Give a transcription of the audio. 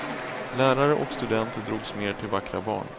Lärare och studenter drogs mer till vackra barn.